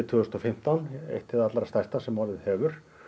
tvö þúsund og fimmtán eitt hið allra stærsta sem orðið hefur